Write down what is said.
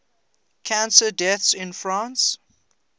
cancer deaths in france